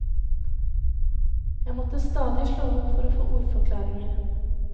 Jeg måtte stadig slå opp for å få ordforklaringer.